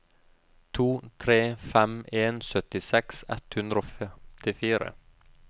to tre fem en syttiseks ett hundre og femtifire